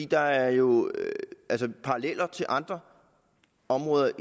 der er jo paralleller til andre områder